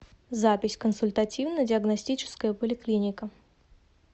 запись консультативно диагностическая поликлиника